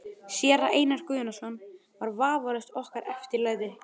Séra Einar Guðnason var vafalaust okkar eftirlæti.